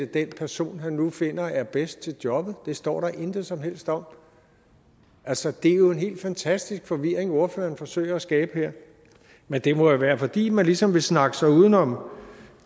den person han nu finder er bedst til jobbet det står der intet som helst om altså det er jo en helt fantastisk forvirring ordføreren forsøger at skabe her men det må jo være fordi man ligesom vil snakke sig uden om